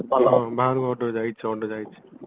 ହଁ ବାହାରୁ order ଯାଇଚି order ଯାଇଚି